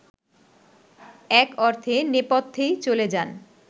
এক অর্থে নেপথ্যেই চলে যান